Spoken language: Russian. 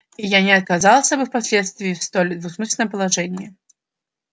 и я не оказался бы впоследствии в столь двусмысленном положении